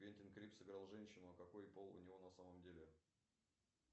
квентин крип сыграл женщину а какой пол у него на самом деле